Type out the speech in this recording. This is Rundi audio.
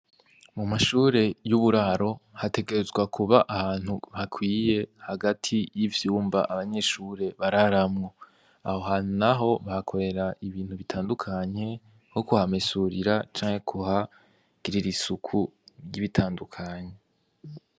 Mu mashure y'uburaro hategerezwa kuba ahantu hakwiye hagati y'ivyumba abanyeshure bararamwo, aho hantu, naho bahakorera ibintu bitandukanye, nko kuhamesurira, canke kuhagirira isuku ry'ibitandukanye.